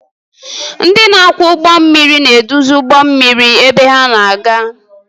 Ndị na-akwọ ụgbọ mmiri na-eduzi ụgbọ mmiri ebe ha na-aga.